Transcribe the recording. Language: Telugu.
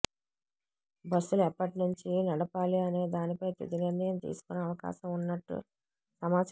బస్సులు ఎప్పటినుంచి నడపాలి అనేదానిపై తుది నిర్ణయం తీసుకునే అవకాశం ఉన్నట్టు సమాచారం